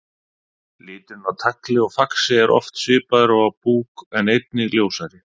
Liturinn á tagli og faxi er oft svipaður og á búk en einnig ljósari.